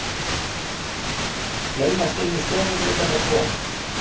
Laumast inn um stofugluggana tvo.